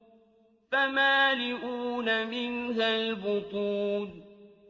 فَمَالِئُونَ مِنْهَا الْبُطُونَ